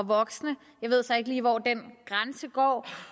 voksne jeg ved så ikke lige hvor den grænse går